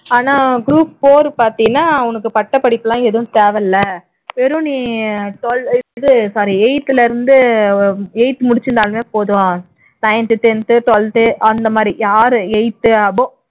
ஆனா group four பார்த்தீன்னா உனக்கு பட்டப்படிப்பு இல்லம் எதுவும் தேவை இல்லை வெறும் நீ twelve இது sorry eighth ல இருந்து eighth முடிச்சிருந்தாலே போதும் ninth tenth twelfth அந்த மாதிரி யார் eighth above